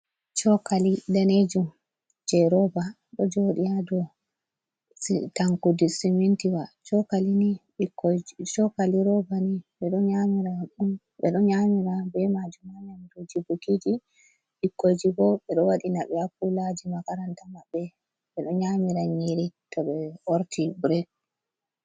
Cokali danejum je roba ɗo jodi ado tankud smintiwa kalini chokali robani bedo nyamira be majum amamduji bukiji bikkoji bo be do wadina be akulaji makaranta mabbe be do nyamira nyiri to be orti birek.